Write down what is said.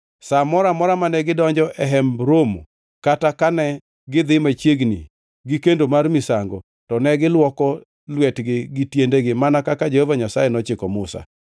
Sa moro amora mane gidonjo e Hemb Romo kata kane gidhi machiegni gi kendo mar misango to ne gilwoko lwetgi gi tiendegi mana kaka Jehova Nyasaye nochiko Musa.